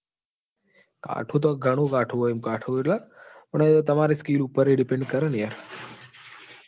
કાઠું તો ઘણું કાઠું હોય કાઠું એટલે પણ તમારે skill ઉઅપર એ depend કરે ને યાર.